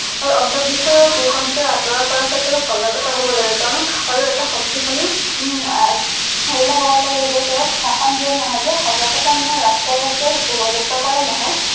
আৰু অন্ধ বিশ্বাস কুসংস্কাৰ আঁতৰৰ কৰা ক্ষেত্ৰত সজাগতা হব লাগে কাৰণ আৰু এটা শক্তিশালী উম আহ সেইয়া হব লাগে যে তেওঁ শাসন দিয়াত নহয় যে সজাগতা মানে ৰাস্তায়ে ৰাস্তায়ে যাত্ৰা কৰায়ে নহয়।